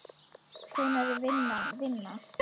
Hvenær er vinna vinna?